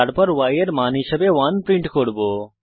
তারপর আমরা y এর মান হিসাবে 1 প্রিন্ট করব